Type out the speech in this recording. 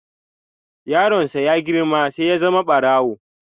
Yaron sa ya girma sai ya zama barawo.